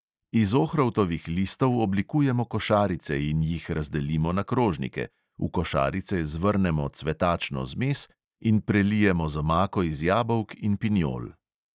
Iz ohrovtovih listov oblikujemo košarice in jih razdelimo na krožnike, v košarice zvrnemo cvetačno zmes in prelijemo z omako iz jabolk in pinjol.